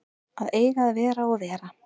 Að eiga að vera og vera